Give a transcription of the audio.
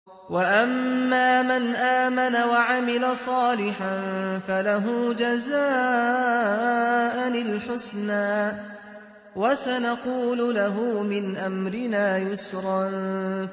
وَأَمَّا مَنْ آمَنَ وَعَمِلَ صَالِحًا فَلَهُ جَزَاءً الْحُسْنَىٰ ۖ وَسَنَقُولُ لَهُ مِنْ أَمْرِنَا يُسْرًا